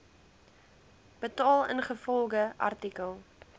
betaal ingevolge artikel